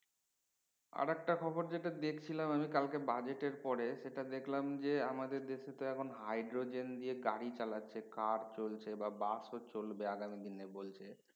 আরেক টা খবর যেটা দেখছিলাম আমি কালকে budget এর পরে যেটা দেখলাম যে আমাদের দেশ তো এখন দিয়ে hydrogen দিয়ে গাড়ি চালাছে কার চলচ্ছে বাস ও চলবে আগামী দিনে বলছে